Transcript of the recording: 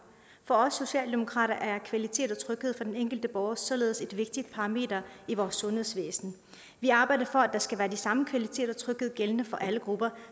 for os socialdemokrater er kvalitet og tryghed for den enkelte borger således et vigtigt parameter i vores sundhedsvæsen vi arbejder for at der skal være den samme kvalitet og tryghed gældende for alle grupper